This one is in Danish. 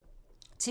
TV 2